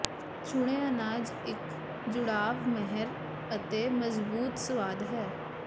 ਚੁਣੇ ਅਨਾਜ ਇੱਕ ਜੁੜਾਵ ਮਹਿਕ ਅਤੇ ਮਜ਼ਬੂਤ ਸਵਾਦ ਹੈ